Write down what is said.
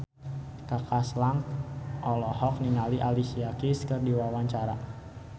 Kaka Slank olohok ningali Alicia Keys keur diwawancara